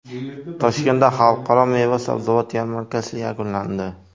Toshkentda Xalqaro meva-sabzavot yarmarkasi yakunlandi.